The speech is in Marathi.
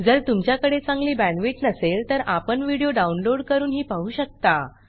जर तुमच्याकडे चांगली बॅंडविड्त नसेल तर आपण व्हिडिओ डाउनलोड करूनही पाहू शकता